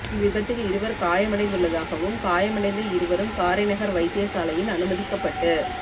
இவ் விபத்தில் இருவர் காயமடைந்துள்ளதாகவும் காயமடைந்த இருவரும் காரைநகர் வைத்தியசாலையில் அனுமதிக்கப்பட்டு